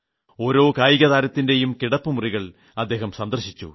ഓരോ കായിക താരത്തിന്റെയും കിടപ്പ് മുറികൾ അദ്ദേഹം സന്ദർശിച്ചു